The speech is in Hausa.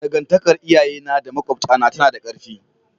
Dangantakar iyayena da makwabtana tana da ƙarfi.